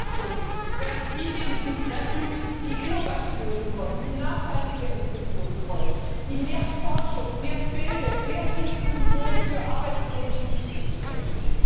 Alle Kürzungen werden diejenigen treffen, die Innovationen wollen, die nachhaltige Entwicklung wollen, die mehr Forschung, mehr Bildung, mehr Inklusion für arbeitslose Jugendliche wollen.